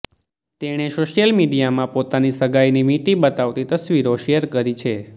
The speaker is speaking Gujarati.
તેણે સોશ્યિલ મીડિયામાં પોતાની સગાઈની વીંટી બતાવતી તસવીરો શેર કરી છે